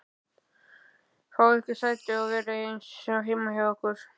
Fáið ykkur sæti og verið eins og heima hjá ykkur!